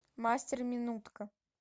мастер минутка